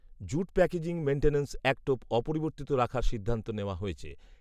jute packaging maintenance অ্যাক্টও অপরিবর্তিত রাখার সিদ্ধান্ত নেওয়া হয়েছে